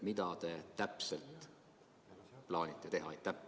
Mida täpselt te plaanite teha?